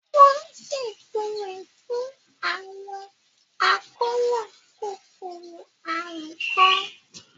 Wọ́n ṣètò rẹ̀ fún àwọn àkóràn kòkòrò àrùn kan.